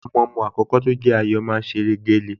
Ọmọọmọ àkọ́kọ́ tó ń jẹ́ Ayọ̀ máa ń ṣeré géle